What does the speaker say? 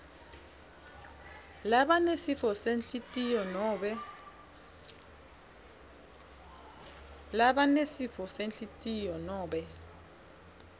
labanesifo senhlitiyo nobe